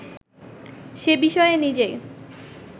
সে-বিষয়ে নিজেই